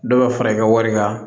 Dɔ bɛ fara i ka wari kan